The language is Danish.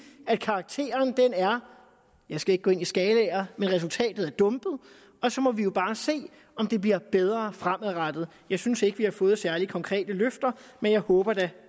at karakteren er jeg skal ikke gå ind i skalaer dumpet og så må vi jo bare se om det bliver bedre fremadrettet jeg synes ikke at vi har fået særlig konkrete løfter men jeg håber da